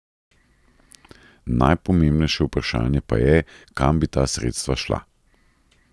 Najpomembnejše vprašanje pa je, kam bi ta sredstva šla.